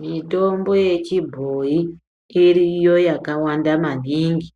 Mitombo yechibhoyi iriyo yakawanda maningi.